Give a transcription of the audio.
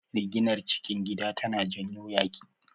Riginar cikin gida tana janyo yaƙi.